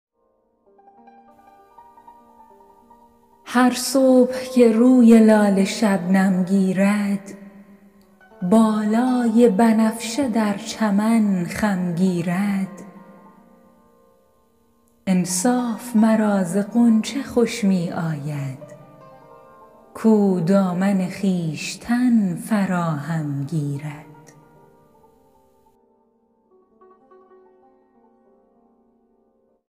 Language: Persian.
هر صبح که روی لاله شبنم گیرد بالای بنفشه در چمن خم گیرد انصاف مرا ز غنچه خوش می آید کاو دامن خویشتن فراهم گیرد